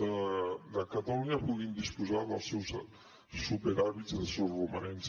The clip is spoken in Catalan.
de catalunya puguin disposar dels seus superàvits i els seus romanents